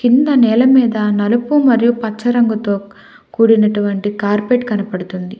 కింద నేల మీద నలుపు మరియు పచ్చరంగుతో కూడినటువంటి కార్పేట్ కనపడుతుంది.